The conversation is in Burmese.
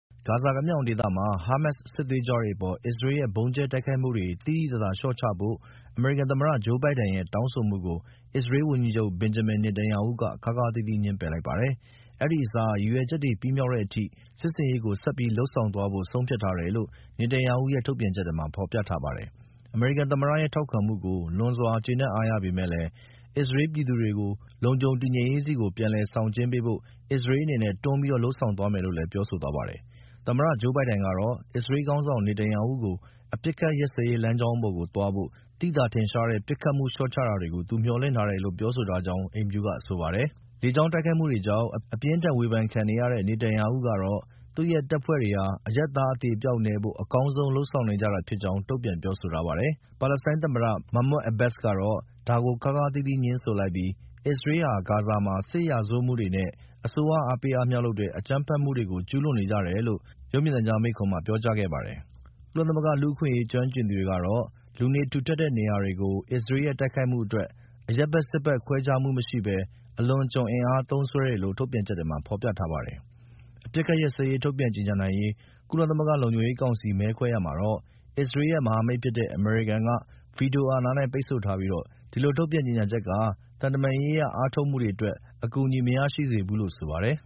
ဂါဇာကမ်းမြောင်ဒေသမှာ ဟားမာ့စ်စစ်သွေးကြွတွေအပေါ် အစ္စရေးရဲ့ ဗုံးကြဲတိုက်ခိုက်မှုတွေကို သိသိသာသာလျှော့ချဖို့အမေရိကန်သမ္မတ ဂျိုးဘိုင်ဒန်ရဲ့တောင်းဆိုမှုကို အစ္စရေးဝန်ကြီးချုပ် Benjamin Netanyahu က ခါးခါးသီးသီး ငြင်းပယ်လိုက်ပါတယ်။ အဲဒီအစား ရည်ရွယ်ချက်တွေပြီးမြောက်တဲ့အထိ စစ်ဆင်ရေးကို ဆက်ပြီးလုပ်ဆောင်သွားဖို့ဆုံးဖြတ်ထားတယ်လို့Netanyahu ရဲ့ ထုတ်ပြန်ချက်မှာဖော်ပြထားပါတယ်။ အမေရိကန်သမ္မတရဲ့ ထောက်ခံမှုကို လွန်စွာကျေနပ်အားရပေမယ့် အစ္စရေးပြည်သူတွေကို လုံခြုံတည်ငြိမ်ရေးဆီကို ပြည်လည်ဆောင်ကျဉ်းပေးဖို့ အစ္စရေးအနေနဲ့ တွန်းပြီးလုပ်ဆောင်သွားမယ်လို့လည်း ပြောဆိုသွားပါတယ်။ သမ္မတ ဂျိူးဘိုင်ဒန်ကတော့ အစ္စရေးခေါင်းဆောင် Netanyahu ကို အပစ်အခတ်ရပ်စဲရေးလမ်းကြောင်းပေါ်ကိုသွားဖို့ သိသာထင်ရှားတဲ့ ပစ်ခတ်မှုလျော့ချတာတွေကို သူမျှော်လင့်ထားတယ်လို့ပြောဆိုထားကြောင်း အိမ်ဖြူတော်ကဆိုပါတယ်။ လေကြောင်းတိုက်ခိုက်မှုတွေကြောင့် အပြင်းအထန်အဝေဖန်ခံနေရတဲ့ Netanyahu ကတော့ သူ့ရဲ့ တပ်ဖွဲ့တွေဟာ အရပ်သား အသေအပျောက်နည်းဖို့အကောင်းဆုံးလုပ်ဆောင်နေကြတာဖြစ်ကြောင်း တုံ့ပြန်ပြောဆိုထားပါတယ်။ ပါလက်စတိုင်းသမ္မတ Mahmoud Abbas ကတော့ ဒါကို ခါးခါးသီးသီး ငြင်းဆိုလိုက်ပြီး အစ္စရေးတွေဟာ ဂါဇာမှာ စစ်ရာဇဝတ်မှုတွေနဲ့ အစိုးရ အားပေးအားမြှောက်လုပ်တဲ့ အကြမ်းဖက်မှုတွေကို ကျူးလွန်နေကြတယ်လို့ ရုပ်မြင်သံကြားမိန့်ခွန်းမှာ ပြောကြားခဲ့ပါတယ်။ ကုလသမဂ္ဂ လူ့အခွင့်အရေးကျွမ်းကျင်သူတွေကတော့ လူနေထူထပ်တဲ့ နေရာတွေကို အစ္စရေးရဲ့တိုက်ခိုက်မှုအတွက် အရပ်ဘက် စစ်ဘက်ခွဲခြားမှုမရှိပဲ အလွန်အကျွံအင်အားသုံးစွဲတယ်လို့ ထုတ်ပြန်ချက်ထဲမှာ ဖော်ပြထားပါတယ်။ အပစ်အခက်ရပ်စဲရေးထုတ်ပြန်ကြေညာနိုင်ရေး ကုလသမဂ္ဂလုံခြုံရေးကောင်စီမဲခွဲရာမှာတော့ အစ္စရေးရဲ့ မဟာမိတ်ဖြစ်တဲ့ အမေရိကန်က ဗွီတိုအာဏာနဲ့ ပိတ်ဆို့ထားပြီး ဒီလိုထုတ်ပြန်ကြေညာချက်က သံတမန်ရေးအားထုတ်မှုတွေအတွက် အကူအညီမရရှိစေဘူးလို့ဆိုပါတယ်